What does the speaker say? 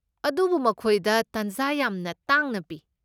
ꯑꯗꯨꯕꯨ ꯃꯈꯣꯏꯗ ꯇꯥꯟꯖꯥ ꯌꯥꯝꯅ ꯇꯥꯡꯅ ꯄꯤ ꯫